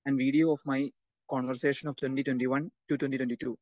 Speaker 2 and video of my conversation of twenty twenty one to twenty twenty to.